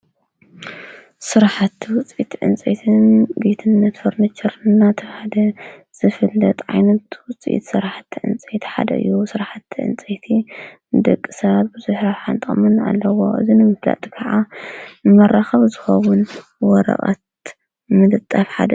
ስራሕቲ ውፂኢት ዕንፀይትን ዲኮርን ጌትነት ፈርንቸር ትካል ካብ ዕንፀይቲ ዝስርሑ ከም ኣርማድዮን ዓራት፣ ከሬንዴሳን ካልኦት ዲኮርን ብዝተፈላለዩ ዲዛንን ዓቀንን ተሰሪሖም ንዕዳጋ ዝቀርበሉ ቦታ እዩ።